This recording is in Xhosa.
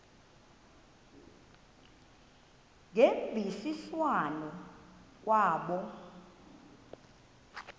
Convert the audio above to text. ngemvisiswano r kwabo